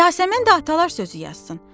Yasəmən də atalar sözü yazsın.